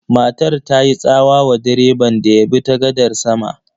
Matar ta yi tsawa wa direban da ya bi ta gadar sama.